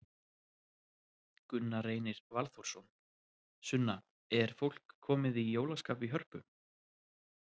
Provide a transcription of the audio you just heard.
Gunna Reynir Valþórsson: Sunna, er fólk komið í jólaskap í Hörpu?